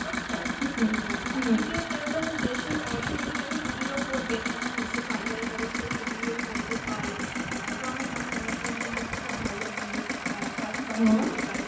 আহ একদিকে তারা যেমন দেশের অর্থনীতি টাকে সুদৃঢ় করবে তেমন নিজের পারিবারিক অবস্থা ও সুদৃঢ় করতে পারে, আহ তো আমার মনে হয় mushroom কিন্তু একটা খুব ভালো জিনিস আহ চাষ করা যেতেই পারে